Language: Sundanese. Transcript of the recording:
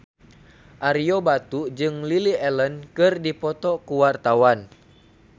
Ario Batu jeung Lily Allen keur dipoto ku wartawan